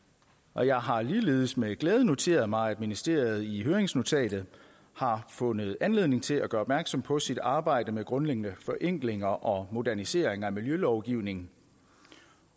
og jeg har ligeledes med glæde noteret mig at ministeriet i høringsnotatet har fundet anledning til at gøre opmærksom på sit arbejde med grundlæggende forenklinger og moderniseringer af miljølovgivningen